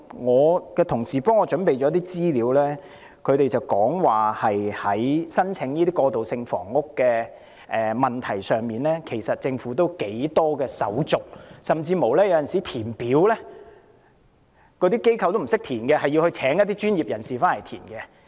我的同事給我準備了一些資料，指出在申請過渡性房屋方面，政府的申請手續頗繁複，甚至機構有時候也不懂得填寫，須聘請一些專業人士協助。